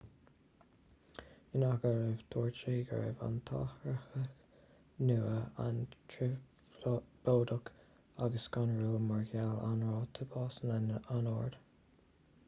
in agallamh dúirt sé go raibh an t-athraitheach nua an-trioblóideach agus scanrúil mar gheall ar an ráta básanna an-ard